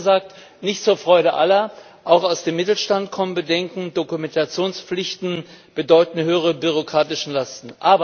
Offen gesagt nicht zur Freude aller, auch aus dem Mittelstand kommen Bedenken Dokumentationspflichten bedeuten höhere bürokratische Lasten.